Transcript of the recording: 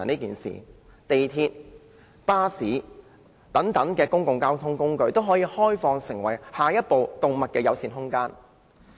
港鐵、巴士等公共交通工具，均可開放成為下一個動物友善空間。